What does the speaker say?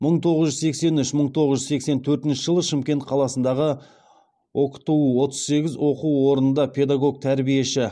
мың тоғыз жүз сексен үш мың тоғыз жүз сексен төртінші жылы шымкент қаласындағы окту отыз сегіз оқу орнында педагог тәрбиеші